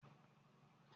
Ẹfun ìkòwé ni a n lo